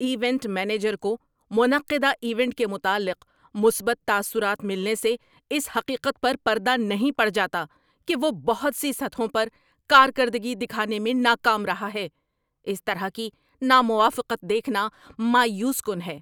‏Event manager کو منعقدہ event کے متعلق مثبت تاثرات ملنے سے اس حقیقت پر پردہ نہیں پڑ جاتا کہ وہ بہت سی سطحوں پر کارکردگی دکھانے میں ناکام رہا ہے۔ اس طرح کی ناموافقت دیکھنا مایوس کن ہے۔